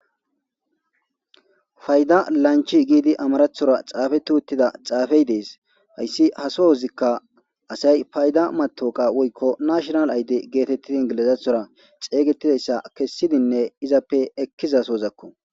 Fayda lanchi giidi amarathora xaafe tuuttida xaafey dees hayssi haso hozikka asay fayda matoqa woykko nashonal ayde geetettidi ingilizathora xeygetidayssa kessidinne izappe ekkizasozakko.